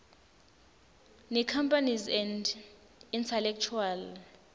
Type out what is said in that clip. necompanies and intellectual